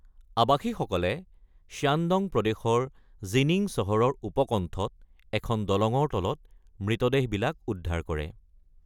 আৱাসীসকলে Shandong প্ৰদেশৰ Jining চহৰৰ উপকণ্ঠত এখন দলঙৰ তলত মৃতদেহবিলাক উদ্ধাৰ কৰে।